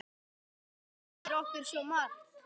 Þú kenndir okkur svo margt.